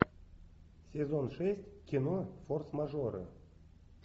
сезон шесть кино форс мажоры